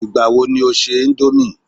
Igbawo ni o ṣe Indomie